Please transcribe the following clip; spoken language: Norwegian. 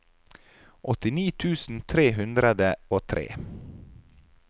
åttini tusen tre hundre og tre